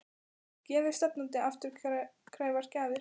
Gefi stefnandi afturkræfar gjafir?